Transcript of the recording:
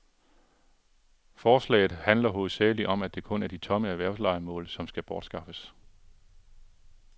Forslaget handler hovedsagelig om, at det kun er de tomme erhvervslejemål, som skal bortskaffes.